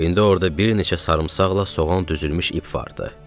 İndi orda bir neçə sarımsaqla soğan düzülmüş ip vardı.